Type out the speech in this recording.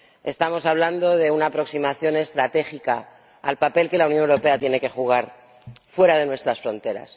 Estamos hablando de una aproximación estratégica al papel que la Unión Europea tiene que jugar fuera de nuestras fronteras.